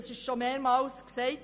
Das wurde schon mehrmals gesagt.